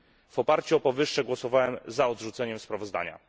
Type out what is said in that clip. W oparciu o powyższe głosowałem za odrzuceniem sprawozdania.